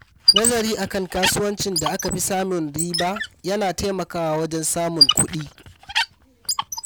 Nazari a kan kasuwancin da aka fi samun riba ya na taimakawa wajen samun kuɗi.